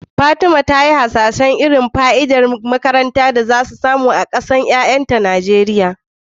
Fatima ta yi hasashen irin fa'idar da 'ya'yanta za su samu daga kayan makaranta kala-kala a nan gaba a Najeriya.